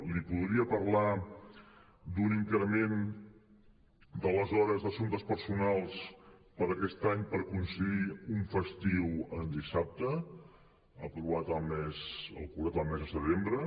li podria parlar d’un increment de les hores d’assumptes personals per a aquest any per concedir un festiu en dissabte aprovat el mes de setembre